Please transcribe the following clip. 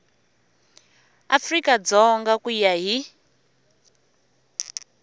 afrika dzonga ku ya hi